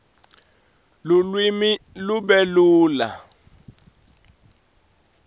lulwimi lube lula